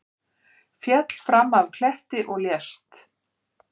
Féll fram af kletti og lést